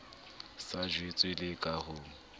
sa jwetswe le ka ho